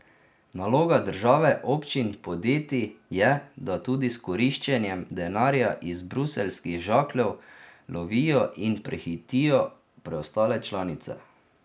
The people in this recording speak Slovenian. Naloga države, občin, podjetij je, da tudi s koriščenjem denarja iz bruseljskih žakljev lovijo in prehitijo preostale članice.